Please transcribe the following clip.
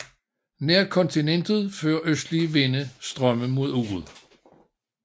Nær kontinentet fører østlige vinde strømme mod uret